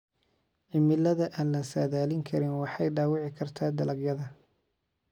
Cimilada aan la saadaalin karin waxay dhaawici kartaa dalagyada.